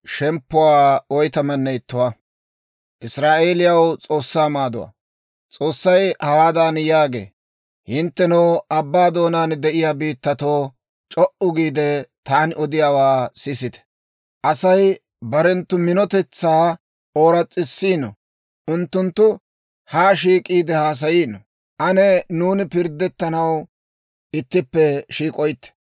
S'oossay hawaadan yaagee; «Hinttenoo abbaa doonaan de'iyaa biittatoo, c'o"u giide, taani odiyaawaa sisite! Asay barenttu minotetsaa ooras's'isino; unttunttu haa shiik'iide haasayiino. Ane nuuni pirddettanaw ittippe shiik'oytte.